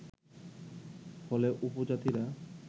ফলে উপজাতিরা